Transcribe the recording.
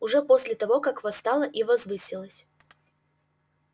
уже после того как восстала и возвысилась